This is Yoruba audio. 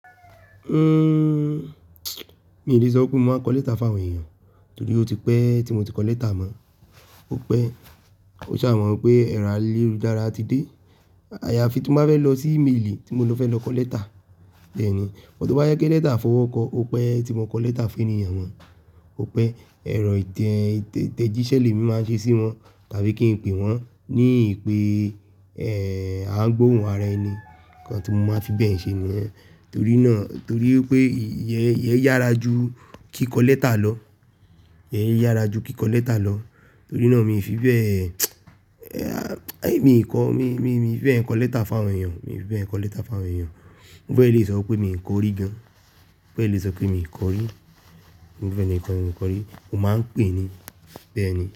Uhm, mi ò lè sọ pé mo máa ń kọ lẹ́tà fún àwọn èèyàn, torí ó ti pẹ́ tí mo ti kọ lẹ́tà mọ́. Ó pẹ́, o ṣà mọ̀ pé ẹ̀rọ ayélujára ti dé. Àyàfi tí mo bá fẹ́ lọ sí ímelì tí mo ló fẹ́ lọ kọ lẹ́tà, bẹ́ẹ̀ ni. But to bá jẹ lẹ́tà afọwọ́kọ, ó pẹ́ tí mo kọ lẹ́tà fún èniyàn mọ Ó pẹ́ ẹ̀rọ ìtẹ̀jísẹ́ lemi máa ṣe sí wọn tàbí kí n pe wọ́n ní ìpé, eh, à ń gbóhùn ara ẹni. Nǹkan tí mo máa fi bẹ́ẹ̀ ṣe nìyẹn. Torí náà, torí pé i, i, iye yára ju kí kọ lẹ́tà lọ. Iye yára ju kí kọ lẹ́tà lọ. Torí náà mi ò fi bẹ́ẹ̀, mi ò kọ́, mi, mi, mi ò fi bẹ́ẹ̀ ń kọ lẹ́tà fún àwọn èèyàn. Mi ò fi bẹ́ẹ̀ ń kọ lẹ́tà fún àwọn èèyàn. Mo fẹ́ lè sọ pé mi ò kọ rí gan. Mo fẹ́ lè sọ pé mi kọ orí. Mo fe e ni kọ́, mi kọ orí. Mo máa ń pè é ni bẹ́ẹ̀ ni.